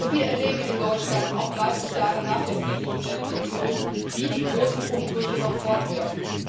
Wir erleben in Deutschland auch 30 Jahre nach der friedlichen Revolution, wie die großen Umbrüche noch fortwirken.